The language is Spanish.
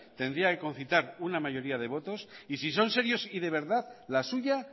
tendría que confitar una mayoría de votos y si son serios y de verdad la suya